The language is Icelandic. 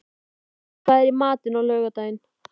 Glóð, hvað er í matinn á laugardaginn?